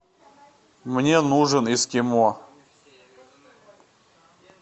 мне нужен эскимо